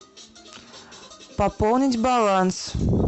пополнить баланс